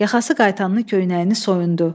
Yaxası qayıtanın köynəyini soyundu.